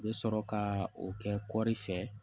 U bɛ sɔrɔ ka o kɛ kɔri fɛ